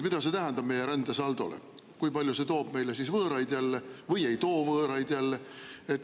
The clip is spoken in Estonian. Mida see tähendab meie rändesaldole, kas see toob meile jälle võõraid ja kui palju see toob meile võõraid?